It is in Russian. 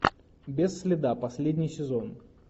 без следа последний сезон